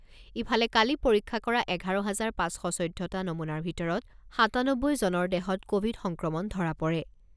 ইফালে কালি পৰীক্ষা কৰা এঘাৰ হাজাৰ পাঁচশ চৈধ্যটা নমুনাৰ ভিতৰত সাতানব্বৈজনৰ দেহত ক'ভিড সংক্ৰমণ ধৰা পৰে।